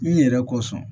N yɛrɛ ko sɔn